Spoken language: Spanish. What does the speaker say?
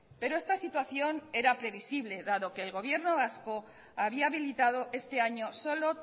pero esta situación era previsible dado que el gobierno vasco había habilitado este año solo